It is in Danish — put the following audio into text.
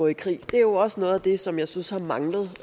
i krig det er jo også noget af det som jeg synes har manglet